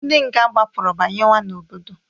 Ndị nga gbapụrụ banyewa n'obodo.